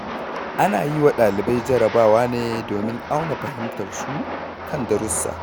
Ana yi wa ɗalibai jarabawa ne domin auna fahimtarsu kan darussa.